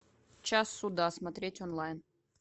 час суда смотреть онлайн